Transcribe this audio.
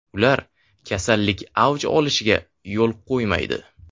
Ular kasallik avj olishiga yo‘l qo‘ymaydi.